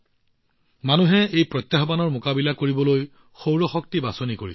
মানুহে এই প্ৰত্যাহ্বানৰ সমাধান হিচাপে সৌৰ শক্তি বাছনি কৰিছিল